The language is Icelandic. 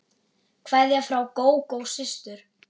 Kveðja frá Gógó systur.